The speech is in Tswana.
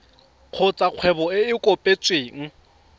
kgotsa kgwebo e e kopetsweng